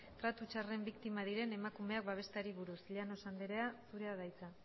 tratu txarren biktima diren emakumeak babesteari buruz llanos andrea zurea da hitza